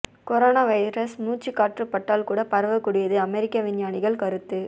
corona virus மூச்சுகாற்று பட்டால் கூட பரவக் கூடியது அமெரிக்க விஞ்ஞானிகள் கருத்து